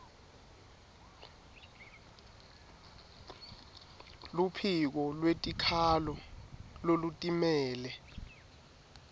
luphiko lwetikhalo lolutimele